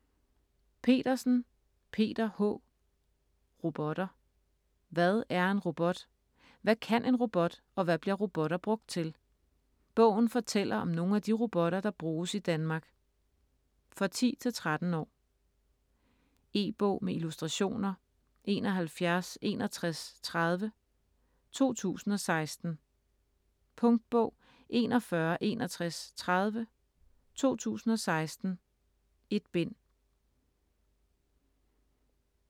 Petersen, Peter H.: Robotter Hvad er en robot? Hvad kan en robot og hvad bliver robotter brugt til? Bogen fortæller om nogle af de robotter, der bruges i Danmark. For 10-13 år. E-bog med illustrationer 716130 2016. Punktbog 416130 2016. 1 bind.